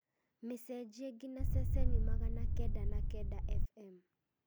mĩcenjie nginya ceceni magana kenda na kenda f.m